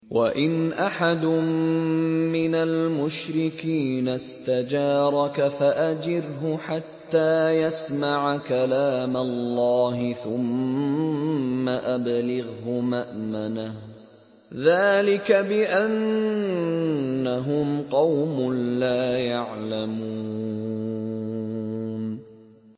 وَإِنْ أَحَدٌ مِّنَ الْمُشْرِكِينَ اسْتَجَارَكَ فَأَجِرْهُ حَتَّىٰ يَسْمَعَ كَلَامَ اللَّهِ ثُمَّ أَبْلِغْهُ مَأْمَنَهُ ۚ ذَٰلِكَ بِأَنَّهُمْ قَوْمٌ لَّا يَعْلَمُونَ